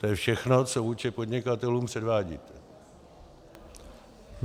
To je všechno, co vůči podnikatelům předvádíte.